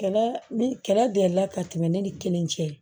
Kɛlɛ ni kɛlɛ delila ka tɛmɛ ne ni kelen cɛ